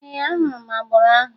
Ee, ahụrụ m agboro ahụ